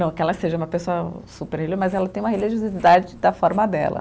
Não que ela seja uma pessoa, mas ela tem uma religiosidade da forma dela.